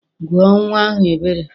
Gụọ nnwa ahụ Ebere!